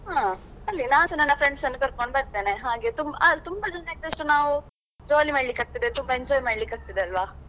ಹಾ ನಾನ್ಸ ನನ್ನ friends ಅನ್ನು ಕರ್ಕೊಂಡು ಬರ್ತೇನೆ ಹಾಗೆ ತುಂ~ ಹಾ ತುಂಬ ಜನ ಇದ್ದಷ್ಟು ನಾವು jolly ಮಾಡ್ಲಿಕ್ಕಾಗ್ತದೆ ತುಂಬಾ enjoy ಮಾಡ್ಲಿಕ್ಕಾಗ್ತದೆ ಅಲ್ವಾ.